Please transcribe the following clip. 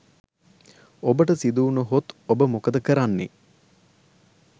ඔබට සිදුවුන හොත් ඔබ මොකද කරන්නේ?